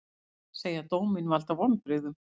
Segja dóminn valda vonbrigðum